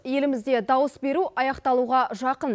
елімізде дауыс беру аяқталуға жақын